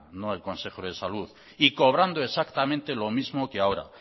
no el consejo de salud y cobrando exactamente lo mismo que ahora